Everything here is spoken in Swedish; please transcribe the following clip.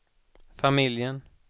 familjen